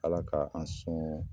Ala ka an sɔn